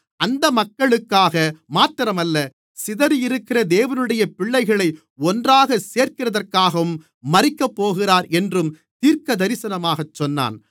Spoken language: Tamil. அந்த மக்களுக்காக மாத்திரமல்ல சிதறியிருக்கிற தேவனுடைய பிள்ளைகளை ஒன்றாகச் சேர்க்கிறதற்காகவும் மரிக்கப்போகிறார் என்றும் தீர்க்கதரிசனமாக சொன்னான்